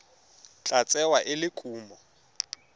tla tsewa e le kumo